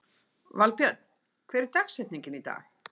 Valbjörn, hver er dagsetningin í dag?